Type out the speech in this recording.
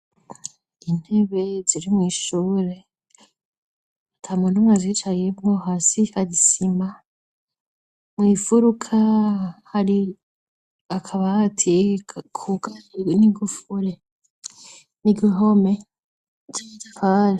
Intebe ziri mw'ishure ata muntu numwe azicayeko. Hasi hari isima. Mw'imfuruka hari akabati kugaye n'igufure. Igihome ciza kandi.